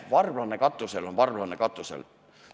Varblane katusel on varblane katusel.